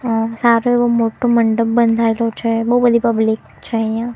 આ સારુ એવુ મોટુ મંડપ બંધાયેલું છે બો બધી પબ્લિક છે અહીંયા.